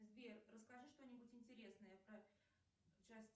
сбер расскажи что нибудь интересное про